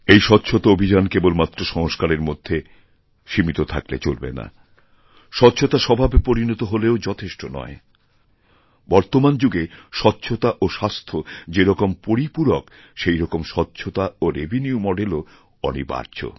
এই স্বচ্ছতাঅভিযান কেবল মাত্র সংস্কারের মধ্যে সীমিত থাকলে চলবে না স্বচ্ছতা স্বভাবে পরিনতহলেও যথেষ্ট নয় বর্তমান যুগে স্বচ্ছতা ও স্বাস্থ্য যেরকম পরিপূরক সেইরকমস্বচ্ছতা ও রেভিনিউ মডেলও অনিবার্য